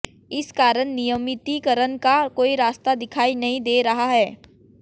इस कारण नियमितीकरण का कोई रास्ता दिखाई नहीं दे रहा है